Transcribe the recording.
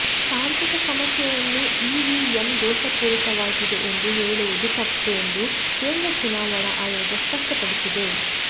ತಾಂತ್ರಿಕ ಸಮಸ್ಯೆಯನ್ನು ಇವಿಎಂ ದೋಷಪೂರಿತವಾಗಿದೆ ಎಂದು ಹೇಳುವುದು ತಪ್ಪು ಎಂದು ಕೇಂದ್ರ ಚುನಾವಣಾ ಆಯೋಗ ಸ್ಪಷ್ಟಪಡಿಸಿದೆ